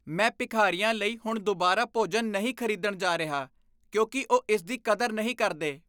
ਮੈਂ ਭਿਖਾਰੀਆਂ ਲਈ ਹੁਣ ਦੁਬਾਰਾ ਭੋਜਨ ਨਹੀਂ ਖ਼ਰੀਦਣ ਜਾ ਰਿਹਾ ਕਿਉਂਕਿ ਉਹ ਇਸ ਦੀ ਕਦਰ ਨਹੀਂ ਕਰਦੇ।